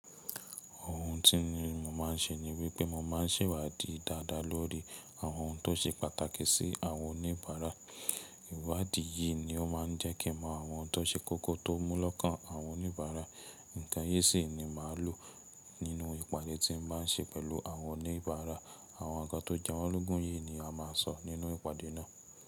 Ohun tí ni mo má n ṣe ni wípé mo má n ṣèwádìí dáadáa lórí àwọn ohun tó ṣe pàtàkì sí àwọn oníbàárà. Ìwádìí yìí ni ó má n jẹ́ kí mọ àwọn ohun tó ṣe kókó tó mú lọ́kàn àwọn oníbàárà. Nǹkan yí sì ni màá lò nínú ìpàdé tí mo bá n ṣe pẹ̀lú àwọn oníbàárà. Àwọn ǹkan tó jẹ́wọ́ ológun yìí ni a má a sọ nínú ìpàdé náà.